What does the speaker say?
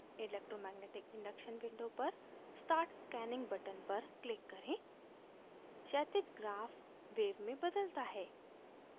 electromagnetic induction window पर start scanning button पर click करें क्षैतिज ग्राफ wave में बदलता है